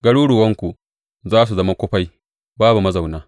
Garuruwanku za su zama kufai babu mazauna.